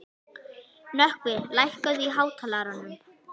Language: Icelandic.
Nökkvi, lækkaðu í hátalaranum.